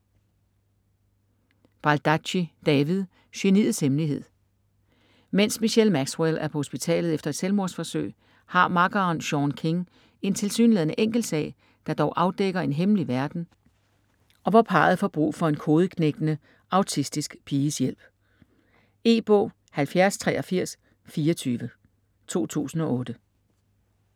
Baldacci, David: Geniets hemmelighed Mens Michelle Maxwell er på hospitalet efter et selvmordsforsøg har makkeren, Sean King, en tilsyneladende enkel sag, der dog afdækker en hemmelig verden og hvor parret får brug for en kodeknækkende autistisk piges hjælp. E-bog 708324 2008.